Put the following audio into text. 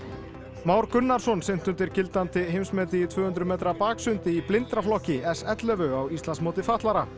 Már Gunnarsson synti undir gildandi heimsmeti í tvö hundruð metra baksundi í s ellefu á Íslandsmóti fatlaðra